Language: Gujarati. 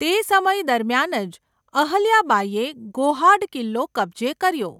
તે સમય દરમિયાન જ અહલ્યાબાઈએ ગોહાડ કિલ્લો કબજે કર્યો.